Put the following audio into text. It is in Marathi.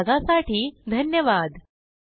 सहभागासाठी धन्यवाद